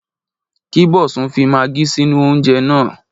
Kí Bosun fi magí sínú oúnjẹ náà.